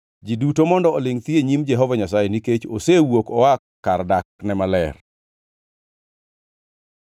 Ji duto mondo olingʼ thi e nyim Jehova Nyasaye, nikech osewuok oa kar dakne maler.”